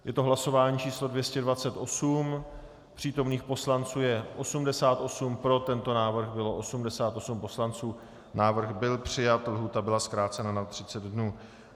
Je to hlasování číslo 228, přítomných poslanců je 88, pro tento návrh bylo 88 poslanců, návrh byl přijat, lhůta byla zkrácena na 30 dnů.